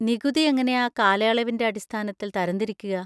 നികുതി എങ്ങനെയാ കാലയളവിൻ്റെ അടിസ്ഥാനത്തിൽ തരംതിരിക്കുക?